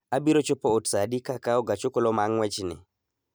Abiro chopo ot saa adi ka akawo gach okoloma ng�wechni?